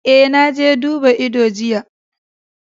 Eh, na je duba ido jiya.